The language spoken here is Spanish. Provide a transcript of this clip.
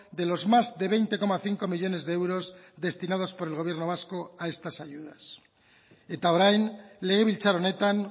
de los más de veinte coma cinco millónes de euros destinados por el gobierno vasco a estas ayudas eta orain legebiltzar honetan